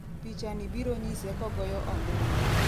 pichani biro nyise kogoyo ombulu